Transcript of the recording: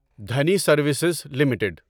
Dhani services limited